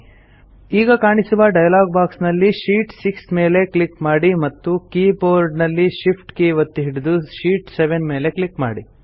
ಈಗ ಕಾಣಿಸುವ dialogue box ನಲ್ಲಿ ಶೀಟ್ 6 ಮೇಲೆ ಕ್ಲಿಕ್ ಮಾಡಿ ಮತ್ತು ಕೀ ಬೋರ್ಡ್ ನಲ್ಲಿ ಶಿಫ್ಟ್ ಕೀ ಒತ್ತಿ ಹಿಡಿದು ಶೀಟ್ 7 ಮೇಲೆ ಕ್ಲಿಕ್ ಮಾಡಿ